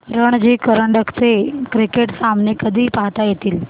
रणजी करंडक चे क्रिकेट सामने कधी पाहता येतील